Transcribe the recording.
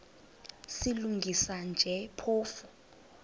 silungisa nje phofu